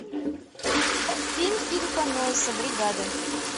фильм филлипа нойса бригада